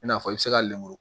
I n'a fɔ i bɛ se ka lemuru